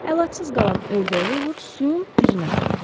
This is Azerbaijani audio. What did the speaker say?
Əlacız qalan ördək Luvr suyun üzünə qondu.